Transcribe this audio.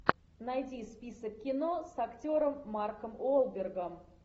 найди список кино с актером марком уолбергом